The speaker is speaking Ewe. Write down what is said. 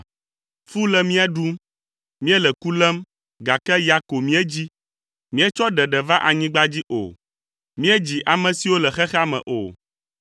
Fu le mía ɖum; míele ku lém, gake ya ko míedzi. Míetsɔ ɖeɖe va anyigba dzi o; míedzi ame siwo le xexea me o.